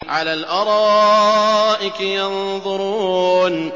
عَلَى الْأَرَائِكِ يَنظُرُونَ